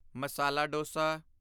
masala dosa